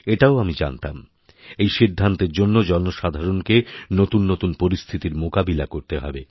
এটাও আমিজানতাম এই সিদ্ধান্তের জন্য জনসাধারণকে নতুন নতুন পরিস্থিতির মোকাবিলা করতে হবে